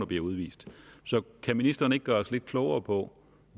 bliver udvist så kan ministeren ikke gøre os lidt klogere på